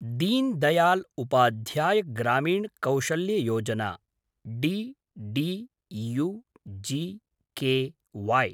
din Dayal Upadhyaya Grameen Kaushalya Yojana D D U - G K वै